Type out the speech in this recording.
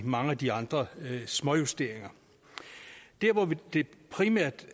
mange af de andre småjusteringer der hvor det primært